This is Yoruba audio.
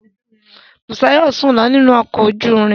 Busayo sùn lọ nínú ọkọ̀ ojú irin.